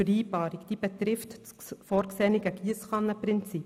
Sie betrifft das vorgesehene Giesskannenprinzip.